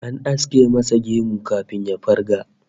An aske masa gemu kafin ya farga